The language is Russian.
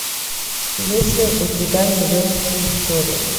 есть ли у тебя нью йоркские истории